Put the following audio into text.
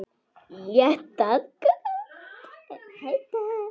Lét það gott heita.